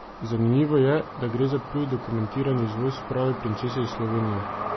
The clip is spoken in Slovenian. Zanimivo je, da gre za prvi dokumentiran izvoz prave princese iz Slovenije!